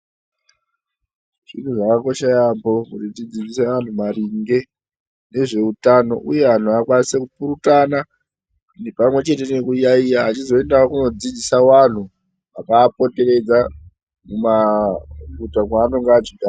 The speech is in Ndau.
Zviro zvakakosha yaambho zvekudzidzisa anthu maringe ngezveutano vechipurutana pamwe chete nekuyaeya vechizoendawo koodzidzise vanthu vakaapoteredza mumaguta kwavanenge vechigara.